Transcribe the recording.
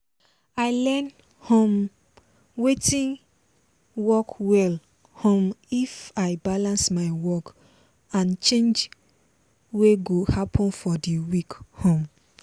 i learn um watin work well um if i balance my work and change wey go happen for the week um